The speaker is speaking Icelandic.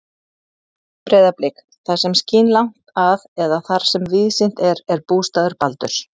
Breiðablik, það sem skín langt að eða þar sem víðsýnt er, er bústaður Baldurs.